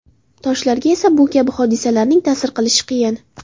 Toshlarga esa bu kabi hodisalarning ta’sir qilishi qiyin.